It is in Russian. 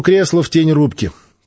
кресло в тень рубки